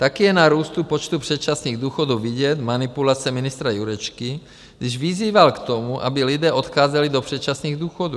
Také je na růstu počtu předčasných důchodů vidět manipulace ministra Jurečky, když vyzýval k tomu, aby lidé odcházeli do předčasných důchodů.